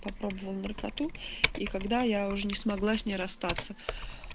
попробовал наркоту и когда я уже не смогла с ней расстаться